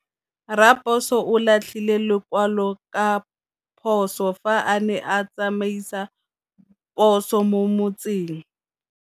Raposo o latlhie lekwalô ka phosô fa a ne a tsamaisa poso mo motseng.